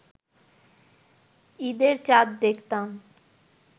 ঈদের চাঁদ দেখতাম